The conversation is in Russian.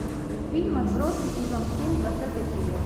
фильм отбросы сезон семь двадцатая серия